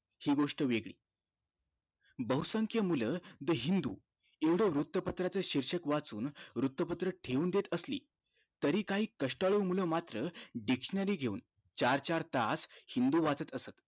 हि गोष्ट वेगळी बहुसंख्या मुलं the हिंदु येवढ वृत्तपत्रच शीर्षक वाचुन वृत्तपत्र ठेऊन देत असली तरी काहि कष्टाळू मूळ मात्र dictionary घेऊन चार चार तास हिंदु वाचत असत